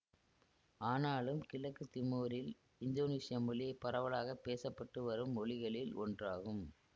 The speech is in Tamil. ஆனாலும் கிழக்கு திமோரில் இந்தோனீசிய மொழி பரவலாக பேச பட்டு வரும் மொழிகளில் ஒன்றாகும்